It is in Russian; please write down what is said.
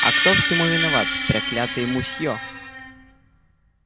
а кто всему виноват проклятый мусьё